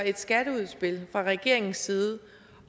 et skatteudspil fra regeringens side